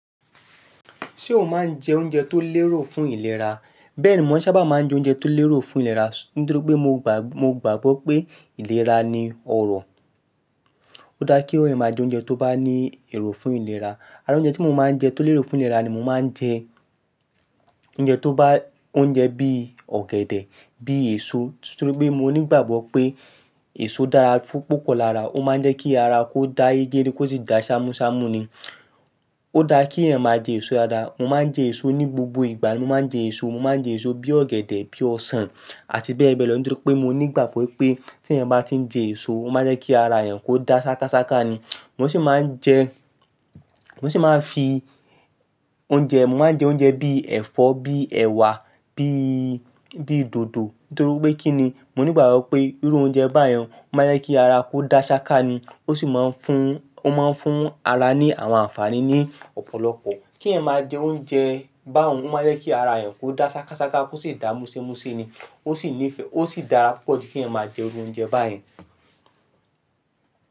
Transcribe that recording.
Ṣé o máa ń jẹ oúnjẹ tó lérò fún ìlera? Bẹ́ẹ̀ni, mo sáabà máa ń jẹ oúnjẹ tó lérò fún ìlera nítorí pé mo gbàgbọ́ pé ìlera ni ọrọ̀. Ó dáa kí eeyan máa jẹ oúnjẹ tó bá ní èrò fún ìlera. Àrá oúnjẹ tí mo máa ń jẹ tó lérò fún ìlera ni mo máa ń jẹ oúnjẹ tó bá-- oúnjẹ bií ọ̀gẹ̀dẹ̀, bíi èso. Nítorí pé mo nígbàgbọ́ pé èso dára púpọ̀ lára. Ó máa ń jẹ́ kí ara kó dá yégede kó sì dá ṣámúṣámú ni. Ó daá kí eeyàn máa jẹ èso dáadáa. Mo máa ń jẹ èso ní gbogbo ìgbà. Mo máa ń jẹ èso, mo máa ń jẹ èso bií ọ̀gẹ̀dẹ̀, bií ọsàn àti bẹ́ẹ̀ bẹ́ẹ̀ lọ nítorí pé mo nígbàgbọ́ wípé tí eeyàn bá ti ń jẹ èso, ó máa ń jẹ́ kí ara eeyàn kó da ṣákáṣáká ni. Mo sì máa ń jẹ, mo sì máa ń fi oúnjẹ, mo máa ń jẹ oúnjẹ bií ẹ̀fọ́, bií ẹ̀wà, bií, bií dòdò. Nítorí pé kí ni? Mo nígbàgbọ́ pé irú oúnjẹ báyẹn ó máa ń jẹ́ kí ara kó da ṣáká ni. Ó sì máa ń fún, ó máa ń fún ara ní àwọn àǹfààní ní ọ̀pọ̀lọpọ̀. Kí eeyàn máa jẹ oúnjẹ báhun ó máa ń jẹ́ kí ara eeyàn kó da ṣákáṣáká kó sì dá múṣemúṣe ni. Ó sì nífẹ̀ẹ́, ó sì dára púpọ̀ kí eeyàn máa jẹ irú oúnjẹ báyẹn.